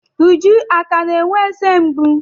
Uju akà na-enwe eze mgbu?